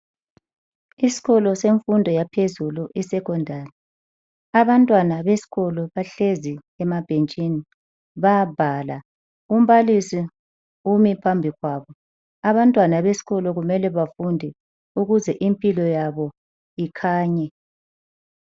Isikolo semfundo yaphezulu isekhondari, abantwana besikolo bahlezi emabhentshini bayabhala. Umbalisi ume phambi kwabo abantwana besikolo mele bafunde ukuze impilo yabo ikhanye.